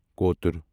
کوتُر